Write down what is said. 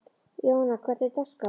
Jóanna, hvernig er dagskráin?